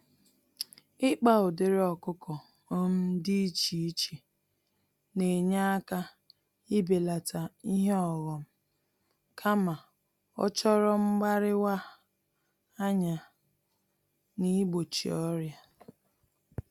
Ịkpa ụdịrị ọkụkọ um dị iche iche nenye àkà ibelata ihe ọghom, kama ochoro mgbáríwa-anya nigbochi ọrịa.